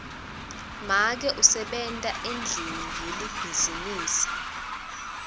make usebenta endlini yelibhizinisi